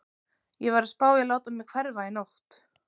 Ég var að spá í að láta mig hverfa í nótt.